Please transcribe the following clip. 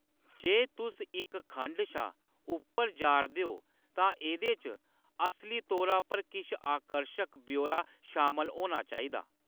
जे तुस इक खंड शा उप्पर जा’रदे ओ तां एह्‌‌‌दे च असली तौरा पर किश आकर्शक ब्यौरा शामल होना चाहिदा !